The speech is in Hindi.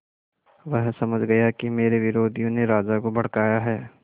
वह समझ गया कि मेरे विरोधियों ने राजा को भड़काया है